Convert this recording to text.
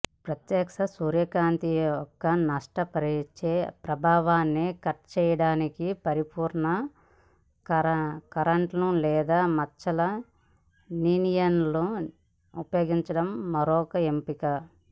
ప్రత్యక్ష సూర్యకాంతి యొక్క నష్టపరిచే ప్రభావాన్ని కట్ చేయడానికి పరిపూర్ణ కర్టెన్లు లేదా మచ్చల లీనియర్లను ఉపయోగించడం మరొక ఎంపిక